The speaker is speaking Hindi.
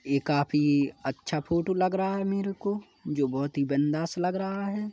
ये काफी अच्छा फोटो लग रहा है मेरे को जो बोहत ही बिंदास लग रहा है।